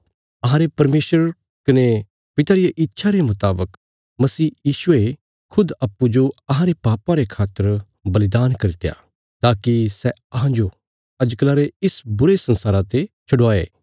अहांरे परमेशर कने पिता रिया इच्छा रे मुतावक मसीह यीशुये खुद अप्पूँजो अहांरे पापां रे खातर बलिदान करित्या ताकि सै अहांजो अजकला रे इस बुरे संसारा ते छडवाये